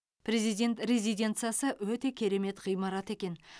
президент резиденциясы өте керемет ғимарат екен